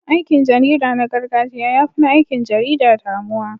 Aikin jarida na gargajiya ya fi na aikin jarida damuwa.